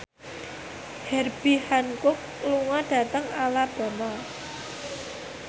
Herbie Hancock lunga dhateng Alabama